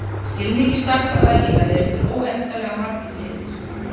Í skilningi stærðfræði og eðlisfræði eru til óendanlega margir litir.